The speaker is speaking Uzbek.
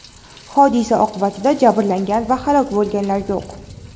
Hodisa oqibatida jabrlangan va halok bo‘lganlar yo‘q.